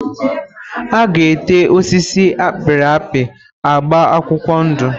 A ga ete osisi a pịrị apị agba akwụkwọ ndụ.